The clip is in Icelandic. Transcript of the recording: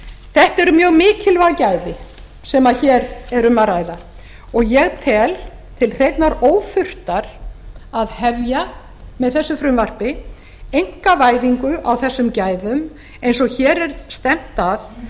þetta eru mjög mikilvæg gæði sem hér er um að ræða og ég tel til hreinnar óþurftar að hefja með þessu frumvarpi einkavæðingu á þessum gæðum eins og hér er stefnt að